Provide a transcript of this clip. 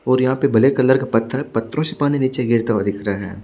और यहाँ पर ब्लैक कलर का पथर पथरो से पानी गिरता हुआ दिखाई दे रहा है।